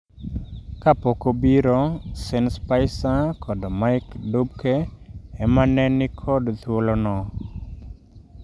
Kapok obiro, Sean Spicer kod Mike Dubke ema ne ni kod thuolono.